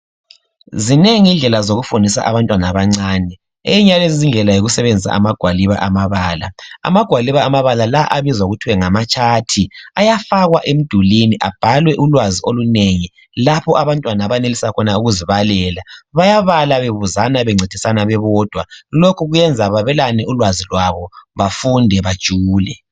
Zinengi indlela zokufundisa abantwana abancane enye yalezi izindlela yikusebenzisa amagwaliba amabala. Amagwaliba amabala la abizwa kuthwe ngamachat ayafakwa emidulwini abhalwe ulwazi olunengi lapho abantwana abenelisa khona ukuzibalela bayabala bebuzana bencedisana bebodwa lokhu kuyayenza bayabelane ulwazi lwabo bafunde bajule.